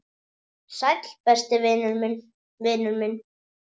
Sæll, besti vinur minn.